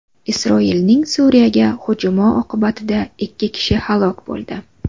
Isroilning Suriyaga hujumi oqibatida ikki kishi halok bo‘ldi.